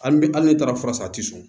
Hali n'e taara fura san a tɛ sɔn